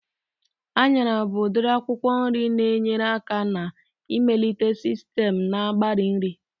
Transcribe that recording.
Anyara bụ udiri akwụkwọ nri na-enyere aka na-ịmelite sistem na-agbari nri